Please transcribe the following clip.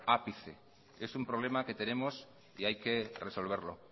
ápice es un problema que tenemos y hay que resolverlo